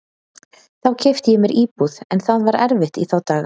Þá keypti ég mér íbúð, en það var erfitt í þá daga.